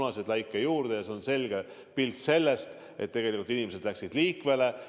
See on selge pilt sellest, mis juhtus, kui inimesed läksid pühade ajal liikvele.